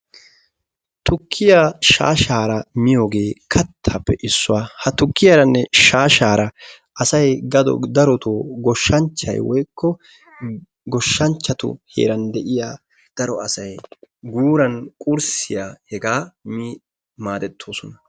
Tukkiya shaasharaaa miyiyoge kattappe issuwaa. Ha tukkiyaranne shaasharaa asay dago daroto goshshanchchay woykko goshshanchchatu heeran deiya daro asay guuran qurssiyaa hegaa mi maadetosona.